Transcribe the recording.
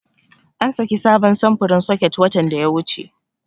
An saki sabon samfurin soket watan da ya wuce.